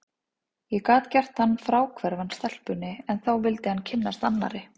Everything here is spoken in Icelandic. Ég gat gert hann fráhverfan stelpunni, en þá vildi hann kynnast annarri.